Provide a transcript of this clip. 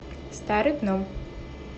старый гном